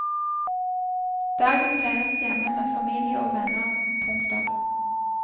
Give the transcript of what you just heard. Dagen feires hjemme med familie og venner. punktum